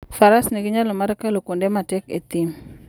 Faras nigi nyalo mar kalo kuonde matek e thim.